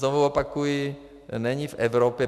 Znovu opakuji, není v Evropě...